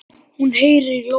Hún heyrir í lóu.